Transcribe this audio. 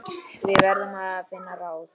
Við verðum að finna ráð.